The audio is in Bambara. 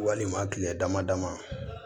Walima kile dama dama